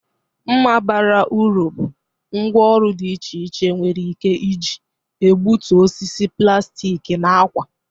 Mma bara uru bụ ngwá ọrụ dị iche iche nwere ike iji egbutu osisi, plastik na ákwà.